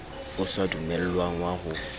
o sa dumellwang wa ho